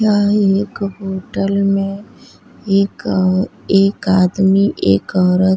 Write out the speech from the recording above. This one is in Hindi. यहाँ एक होटल में एक एक आदमी एक औरत --